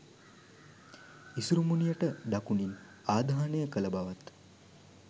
ඉසුරුමුණියට දකුණින් ආදාහනය කළ බවත්